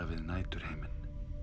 við næturhimin